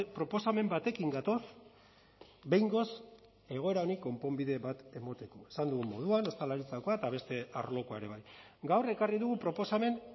proposamen batekin gatoz behingoz egoera honi konponbide bat emateko esan dugun moduan ostalaritzakoa eta beste arlokoa ere bai gaur ekarri dugu proposamen